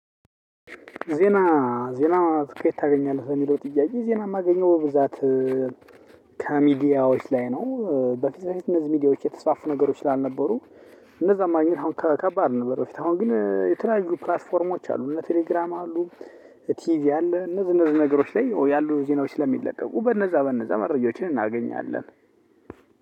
ዜና ዜና ከየት ታገኛለህ ተሚሎ ጥያዬ ዜና የማገኘው ብዛት ካሚዲያዎች ላይ ነው። በፊት በፊት እነዚህ ሚዲያዎች የተስፋፉ ነገሮች ስላልነበሩ። እነዛን ማግኘት አሁን ከባድ ነበር። በፊት አሁን ግን የተለያዩ ፕላትፎርሞች አሉ እነ ቴሌግራም አሉ። ቲቪ አለ እነ እነዚህ እነዚህ ነገሮች ላይ ያሉ ዜናዎች ስለሚለቀቁ በነዛ በነዛ መረጃዎችን እናገኛለን።